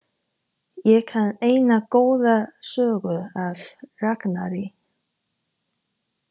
Ég kann eina góða sögu af Ragnari.